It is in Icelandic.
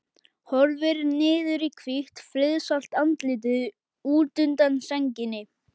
Horfir niður í hvítt, friðsælt andlitið útundan sænginni.